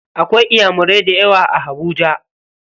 Akwai inyamurai dayawa a Habuja.